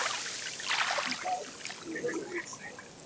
Sá sem aldrei er forvitinn verður aldrei fróður.